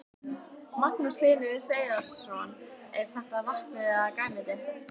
Magnús Hlynur Hreiðarsson: Er þetta vatnið eða grænmetið?